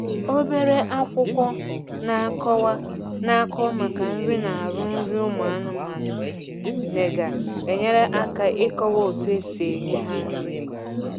Obere akwụkwọ na akọwa na akọwa maka nri na arụ nri ụmụ anụmanụ riri nnega enyere aka ikọwa otu esi enye ha nri